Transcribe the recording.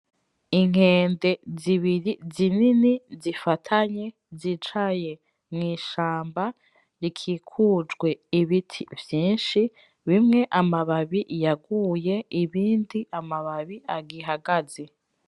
Inkande zibiri zinini zifatanye zicaye mu ishamba rikikujwe ibiti vyishi bimwe amababi yaguye ibindi amababi agihagaze.